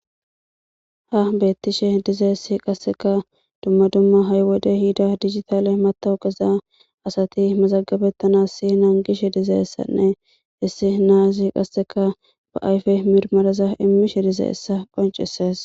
Ha beettishe dizeessi qasseka dumma dumma ha'i wode hida digitale matawu qeza asati mazagabettanas si naan gishe dizayessanne issi naazi qasseka ba ayfe mirmaraza immishe dizaessa qonceses.